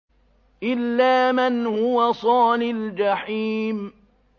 إِلَّا مَنْ هُوَ صَالِ الْجَحِيمِ